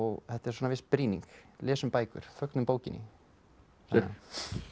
þetta er svona viss brýning lesum bækur fögnum bókinni